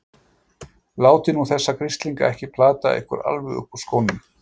Látið nú þessa grislinga ekki plata ykkur alveg upp úr skónum!